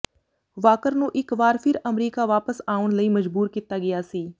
Walker ਨੂੰ ਇਕ ਵਾਰ ਫਿਰ ਅਮਰੀਕਾ ਵਾਪਸ ਆਉਣ ਲਈ ਮਜਬੂਰ ਕੀਤਾ ਗਿਆ ਸੀ